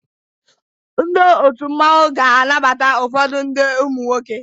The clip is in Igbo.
Ndi otụ mmanwu ga anabata ụfodu ndi umunwoke.